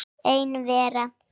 Ein vera.